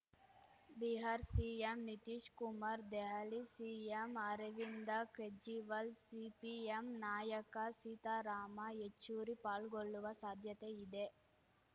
Bihar CM Nitish Kumar Delhi CM Arvind Kejriwal CPM ನಾಯಕ ಸೀತಾರಾಮ ಯೆಚೂರಿ ಪಾಲ್ಗೊಳ್ಳುವ ಸಾಧ್ಯತೆ ಇದೆ